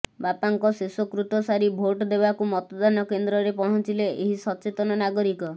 ବାପାଙ୍କ ଶେଷ କୃତ ସାରି ଭୋଟ ଦେବାକୁ ମତଦାନ କେନ୍ଦ୍ରରେ ପହଞ୍ଚିଲେ ଏହି ସଚେତନ ନାଗରିକ